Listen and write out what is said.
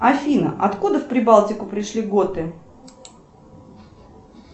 афина откуда в прибалтику пришли готы